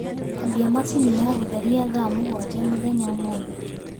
ambĩa machĩnĩ ya gutherĩa thaa mũgwanja mũthenya ũmũthĩ